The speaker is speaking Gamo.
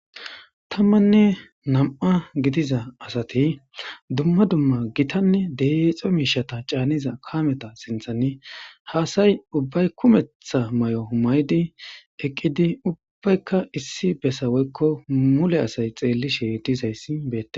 tammanne nam7a gidiza asati dumma dumma gitanne deexo miishata caaniza kaameta sinthanni haasay ubbay kumetha may7o humaydi eqqidi ubbbaykka issi besaweykko mule asay xeellishe dizayssi beee